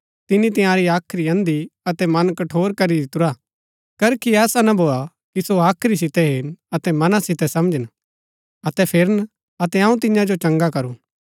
तिनी तंयारी हाख्री अंधी अतै मन कठोर करी दितुरा हा करखी ऐसा ना भोआ कि सो हाख्री सितै हेरन अतै मना सितै समझन अतै फिरन अतै अऊँ तियां जो चंगा करूं